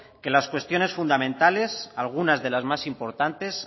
que las cuestiones fundamentales algunas de las más importantes